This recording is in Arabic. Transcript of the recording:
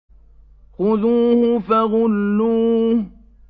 خُذُوهُ فَغُلُّوهُ